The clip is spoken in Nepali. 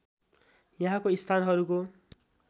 यहाँको स्थानहरूको